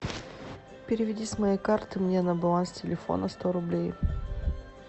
переведи с моей карты мне на баланс телефона сто рублей